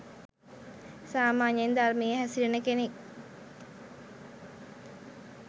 සාමාන්‍යයෙන් ධර්මයේ හැසිරෙන කෙනෙක්